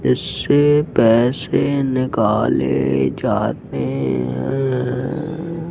इससे पैसे निकाले जाते हैं।